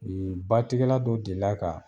Yen batigɛla dɔ delila ka